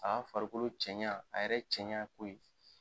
Aga farikolo cɛɲa a yɛrɛ cɛɲa ko ye